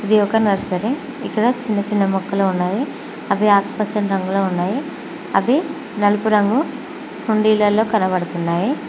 ఇది ఒక నర్సరీ ఇక్కడ చిన్న చిన్న ముక్కలు ఉన్నాయి అవి ఆకుపచ్చ రంగులో ఉన్నాయి అవి నలుపు రంగు ఉండేలలో కనబడుతున్నాయి.